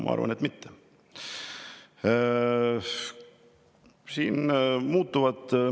Ma arvan, et mitte.